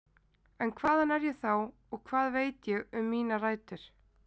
En hvaðan er ég þá og hvað veit ég um mínar rætur?